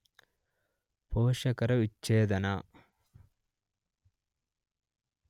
ಪೋಷಕರು ವಿಚ್ಛೇದನ